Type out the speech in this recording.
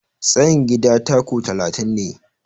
Tsayin gidana 'taku' talatin ne.